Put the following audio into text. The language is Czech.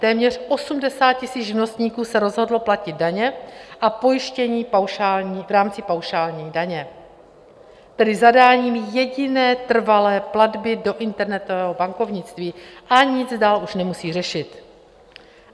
Téměř 80 000 živnostníků se rozhodlo platit daně a pojištění v rámci paušální daně, tedy zadáním jediné trvalé platby do internetového bankovnictví a nic dál už nemusí řešit.